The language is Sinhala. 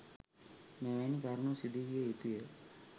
මෙවැනි කරුණු සිදු විය යුතුය.